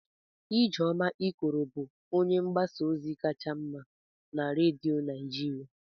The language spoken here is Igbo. Ijeoma Ikoro bụ onye mgbasa ozi kacha mma na redio Naijiria.